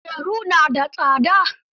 Kujeru na da tsada